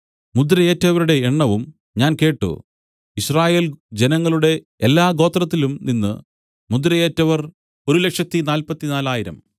മുദ്രയേറ്റവരുടെ എണ്ണവും ഞാൻ കേട്ട് യിസ്രായേൽ ജനങ്ങളുടെ എല്ലാ ഗോത്രത്തിലും നിന്നു മുദ്രയേറ്റവർ 144000